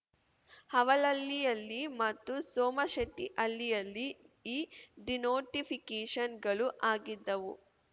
ಅವಲಹಳ್ಳಿಯಲ್ಲಿ ಮತ್ತು ಸೋಮಶೆಟ್ಟಿಹಳ್ಳಿಯಲ್ಲಿ ಈ ಡಿನೋಟಿಫಿಕೇಷನ್‌ಗಳು ಆಗಿದ್ದವು